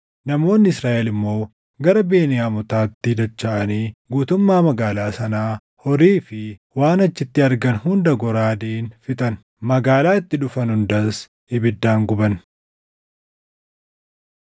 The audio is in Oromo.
Namoonni Israaʼel immoo gara Beniyaamotaatti dachaʼanii guutummaa magaalaa sanaa, horii fi waan achitti argan hunda goraadeen fixan. Magaalaa itti dhufan hundas ibiddaan guban.